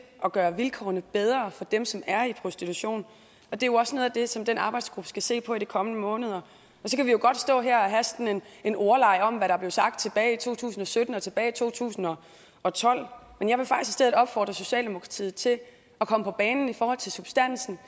at gøre vilkårene bedre for dem som er i prostitution og det er jo også noget af det som den arbejdsgruppe skal se på i de kommende måneder så kan vi jo godt stå her og have sådan en ordleg om hvad der blev sagt tilbage i to tusind og sytten og tilbage i to tusind og og tolv men jeg vil faktisk i stedet opfordre socialdemokratiet til at komme på banen i forhold til substansen